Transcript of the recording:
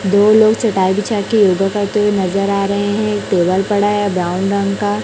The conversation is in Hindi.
दो लोग चटाई बिछा के ऊपर पढ़ते हुए नजर आ रहे हैं एक टेबल पड़ा है ब्राउन रंग का।